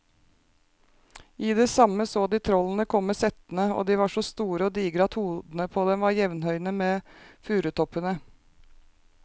I det samme så de trollene komme settende, og de var så store og digre at hodene på dem var jevnhøye med furutoppene.